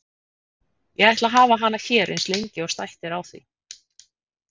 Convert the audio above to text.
Ég ætla að hafa hana hér eins lengi og stætt er á því.